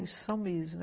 Isso são mesmo.